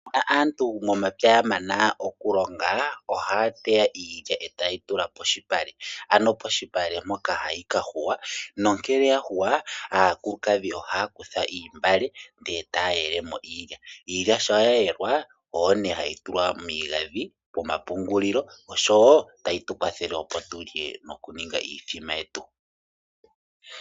Shampa aantu momapya ya mana okulonga ohaya teya iilya e taye yi tula polupale, ano polupale mpoka hayi ka yungulwa, nongele ya yungulwa aakulukadhi ohaya kutha oontungwa ndele taya yele mo iilya. Iilya shampa ye yelwa oyo nee hayi tulwa miigandhi nomomapungulilo osho wo tayi tu kwathele opo tu lye mokuninga iithima yetu.